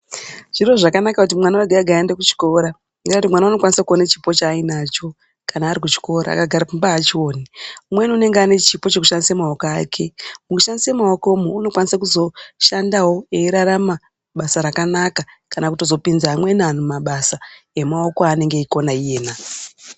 Zviro zvakanaka kuti mwana wega-wega aende kuchikora ngendaa yekuti mwana unokwanise kuona chipo chaainacho kana ari kuchikora akagara pamba haachioni. Umweni unenge ane chipo chekushandisa maoko ake mukushandise maokomu unokwanise kuzoshandavo eirarama basa rakanaka. Kana kutozopinza amweni antu mabasa emaoko anonga eikona iyena.